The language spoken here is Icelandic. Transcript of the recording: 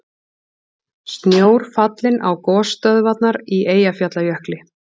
Snjór fallinn á gosstöðvarnar í Eyjafjallajökli